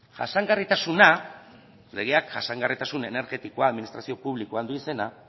jasangarritasuna legeak jasangarritasun energetikoa administrazio publikoan du izena